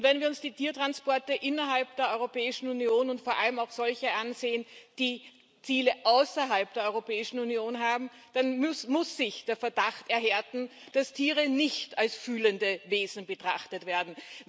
Und wenn wir uns die Tiertransporte innerhalb der Europäischen Union und vor allem auch solche ansehen, die Ziele außerhalb der Europäischen Union haben, dann muss sich der Verdacht erhärten, dass Tiere nicht als fühlende Wesen betrachtet werden.